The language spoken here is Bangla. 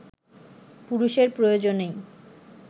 পুরুষের প্রয়োজনেই